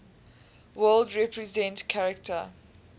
world represent character